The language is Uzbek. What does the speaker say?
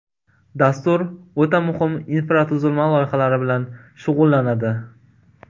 Dastur o‘ta muhim infratuzilma loyihalari bilan shug‘ullanadi.